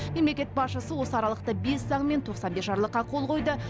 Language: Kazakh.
мемлекет басшысы осы аралықта бес заң мен тоқсан бес жарлыққа қол қойды